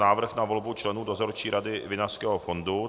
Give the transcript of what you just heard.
Návrh na volbu členů Dozorčí rady Vinařského fondu